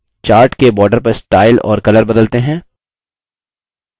chart के border का style और color बदलते हैं